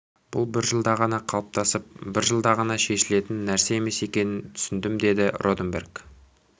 бұл бір ғана жылда қалыптасып бір жылда ғана шешілетін нәрсе емес екенін түсіндімдеді роденберг